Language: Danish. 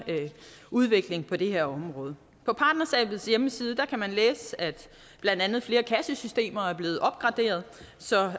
udvikling på det her område på partnerskabets hjemmeside kan man læse at blandt andet flere kassesystemer er blevet opgraderet så